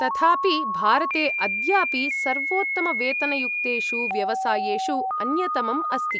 तथापि, भारते अद्यापि सर्वोत्तमवेतनयुक्तेषु व्यवसायेषु अन्यतमम् अस्ति।